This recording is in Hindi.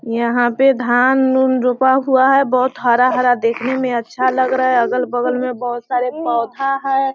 यहाँ पे धान उन रोपा हुआ हैं बहुत हरा-हरा देखने में अच्छा लग रहा हैं अगल-बगल में बहुत सारा पौधा हैं।